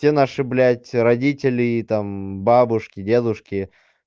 все наши блять родителей там бабушки дедушки